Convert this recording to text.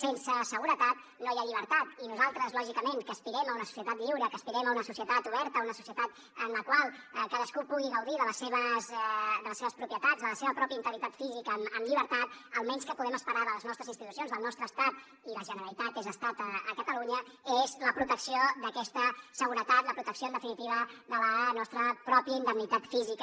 sense seguretat no hi ha llibertat i nosaltres lògicament que aspirem a una societat lliure que aspirem a una societat oberta una societat en la qual cadascú pugui gaudir de les seves propietats de la seva pròpia integritat física amb llibertat el mínim què podem esperar de les nostres institucions del nostre estat i la generalitat és estat a catalunya és la protecció d’aquesta seguretat la protecció en definitiva de la nostra pròpia indemnitat física